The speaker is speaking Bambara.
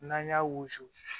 N'an y'a wusu